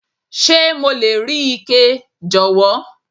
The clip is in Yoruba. Ṣé mo lè rí ike, jọ̀wọ́?